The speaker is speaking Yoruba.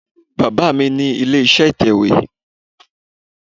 Baba mi ni ile-iṣẹ itẹwe